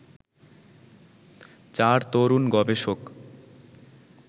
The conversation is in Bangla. চার তরুণ গবেষক